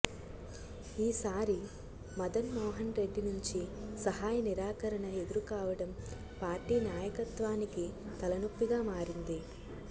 ఈసారి మదన్ మోహన్ రెడ్డి నుంచి సహాయ నిరాకరణ ఎదురు కావడం పార్టీ నాయకత్వానికి తలనొప్పిగా మారింది